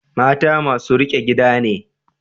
Mata masu riƙe gida ne.